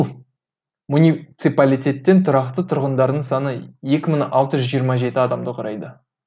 муниципалитеттің тұрақты тұрғындарының саны екі мың алты жүз жиырма жеті адамды құрайды